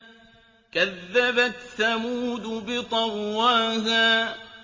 كَذَّبَتْ ثَمُودُ بِطَغْوَاهَا